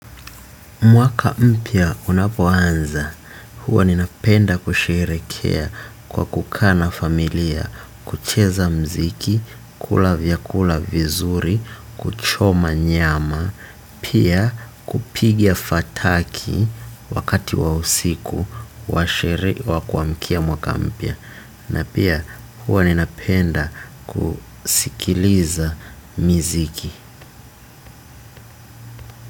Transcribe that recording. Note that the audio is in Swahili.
Mwaka mpya unapoanza, huwa ninapenda kusherehekea kwa kukaa na familia, kucheza muziki, kula vyakula vizuri, kuchoma nyama, pia kupiga fataki wakati wa usiku, wa sherehe wa kuamkia mwaka mpya. Na pia huwa ninapenda kusikiliza miziki.